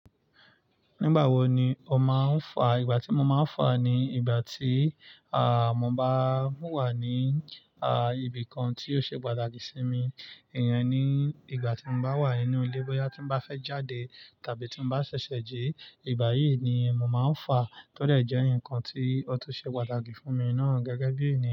Nígbà wo ni o máa ń fà? Ìgbà tí mo máa ń fà ni ìgbà tí, à, mo bá wà ní, a, ibi kan tí ó ṣe pàtàkì sí mi. Iyen ní, ìgbà tí mo bá wà nínú ilé, bóyá tí mo bá fẹ́ jáde tàbí tí mo bá ṣẹ̀ṣẹ̀ jí, ìgbà yìí ni mo máa ń fà tọ́dẹ̀ jẹ́ ǹkan tí ó tó ṣe pàtàkì fún mi náà gẹ́gẹ́ bí ènìyàn.